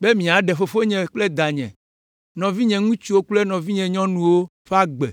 be miaɖe fofonye kple danye, nɔvinye ŋutsuwo kple nɔvinye nyɔnuwo ƒe agbe